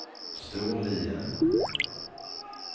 Storlien